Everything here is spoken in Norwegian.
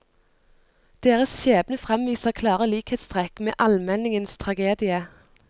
Deres skjebne fremviser klare likhetstrekk med almenningens tragedie.